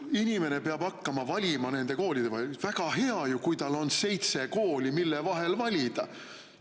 Inimene peab hakkama valima nende koolide vahel – väga hea ju, kui tal on seitse kooli, mille vahel valida!